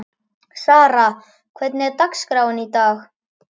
Sara, hvernig er dagskráin í dag?